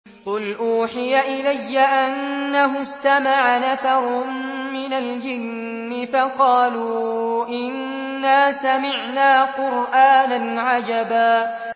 قُلْ أُوحِيَ إِلَيَّ أَنَّهُ اسْتَمَعَ نَفَرٌ مِّنَ الْجِنِّ فَقَالُوا إِنَّا سَمِعْنَا قُرْآنًا عَجَبًا